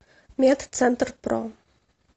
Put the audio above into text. медцентрпро